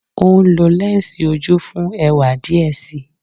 O nlo lẹnsi oju fun ẹwa diẹ sii